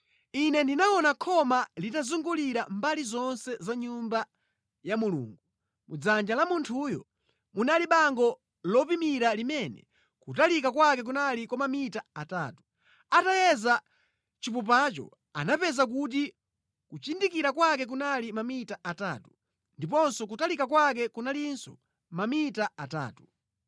Ine ndinaona khoma litazungulira mbali zonse za Nyumba ya Mulungu. Mʼdzanja la munthuyo munali bango lopimira limene kutalika kwake kunali kwa mamita atatu. Atayeza chipupacho anapeza kuti kuchindikira kwake kunali mamita atatu, ndiponso kutalika kwake kunalinso mamita atatu.